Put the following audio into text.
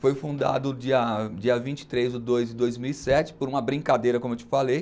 Foi fundado dia dia vinte e três do dois de dois mil e sete, por uma brincadeira, como eu te falei.